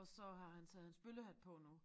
Og så har han taget hans bøllehat på nu